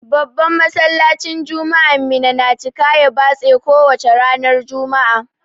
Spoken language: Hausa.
Babban Masallacin juma'an Minna na cika ya batse ko wace ranar juma'a.